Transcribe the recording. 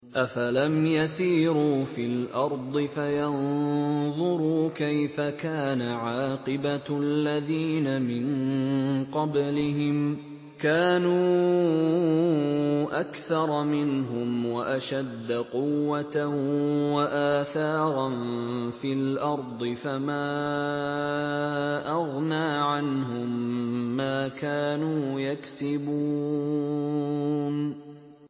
أَفَلَمْ يَسِيرُوا فِي الْأَرْضِ فَيَنظُرُوا كَيْفَ كَانَ عَاقِبَةُ الَّذِينَ مِن قَبْلِهِمْ ۚ كَانُوا أَكْثَرَ مِنْهُمْ وَأَشَدَّ قُوَّةً وَآثَارًا فِي الْأَرْضِ فَمَا أَغْنَىٰ عَنْهُم مَّا كَانُوا يَكْسِبُونَ